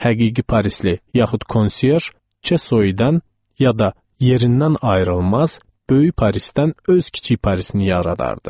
Həqiqi parisli, yaxud konsyerj Çesoidən, ya da yerindən ayrılmaz, böyük Parisdən öz kiçik Parisini yaradardı.